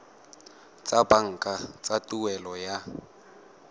tsa banka tsa tuelo ya